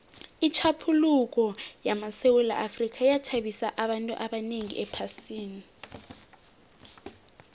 itjhaphuluko lamasewula afrika yathabisa abantu abanengi ephasini